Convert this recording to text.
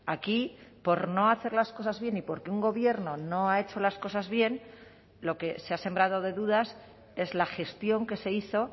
aquí por no hacer las cosas bien y porque un gobierno no ha hecho las cosas bien lo que se ha sembrado de dudas es la gestión que se hizo